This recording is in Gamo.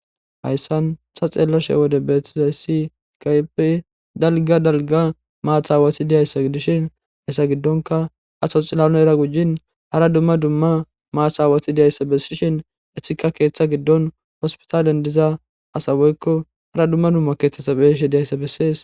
Hayssan tha xeellashe wode beettizayssi kaypi dalga dalga maathaawathi diyayssa dishin hessa giddonka asa cilao era gujjin hara dumma dumma maathaawathi deyayssa bessishin ehika keeththa giddon hospitalen diza asawoykko hara dumma dumma keeththetsabeishi diyayssa bessees.